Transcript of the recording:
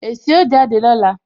Èsì ó jáde lọ́la